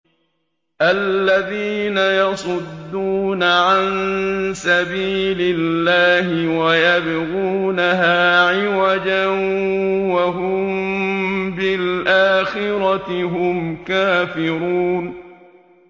الَّذِينَ يَصُدُّونَ عَن سَبِيلِ اللَّهِ وَيَبْغُونَهَا عِوَجًا وَهُم بِالْآخِرَةِ هُمْ كَافِرُونَ